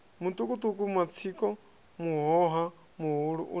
mutukutuku matsiko muhoha muhulua una